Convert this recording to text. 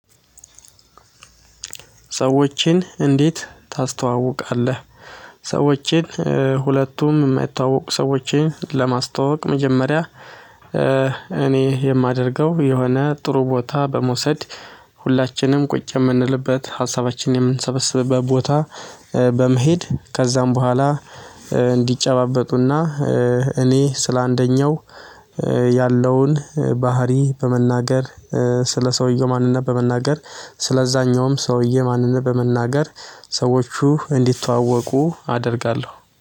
ሰዎችን እንዴት ታስተዋውቃለህ? ሰዎችን ሁለቱም የማይተወወቁ ሰዎችን ለማስተዋወቅ መጀመሪያ እኔ የማደርገው የሆነ ጥሩ ቦታ በመውሰድ ሁላችንም ቁጭ የምንልበት ሀሳባችንን የምንሰበስብበት ቦታ በመሄድ ከዚያም በኋላ እንዲጨባበጡና እኔ ስለአንደኛው ያለውን ባህሪ በመናገር ስለ ሰውዬ ማንነት በመናገር፤ ሰውዬ ማንነት በመናገር ሰዎቹ እንዲተዋወቁ አደርጋለሁ።